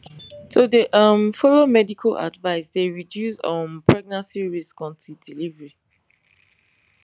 to dey um follow medical advice dey reduce um pregnancy risks until delivery